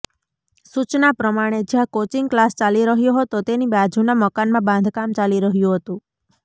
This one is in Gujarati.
સૂચના પ્રમાણે જ્યાં કોચિંગ ક્લાસ ચાલી રહ્યો હતો તેની બાજુના મકાનમાં બાંધકામ ચાલી રહ્યું હતું